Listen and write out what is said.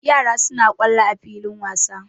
Yara suna kwallo a filin wasa.